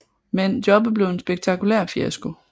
Men jobbet blev en spektakulær fiasko